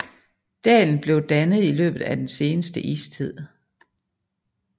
Dalen blev dannet i løbet af den seneste istid